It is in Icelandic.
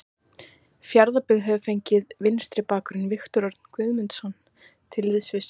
Fjarðabyggð hefur fengið vinstri bakvörðinn Viktor Örn Guðmundsson til liðs við sig.